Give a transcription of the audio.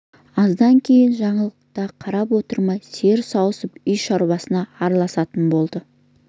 аздап кейін жаңыл да қарап отырмай сиыр сауысып үй шаруасына араласатын болды